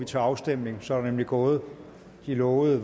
til afstemning så er der nemlig gået de lovede